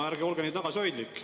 No ärge olge nii tagasihoidlik.